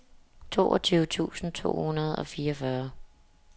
toogtyve tusind to hundrede og fireogfyrre